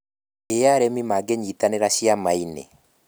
Ī arĩmi mangĩnyitanĩra ciama-inĩ?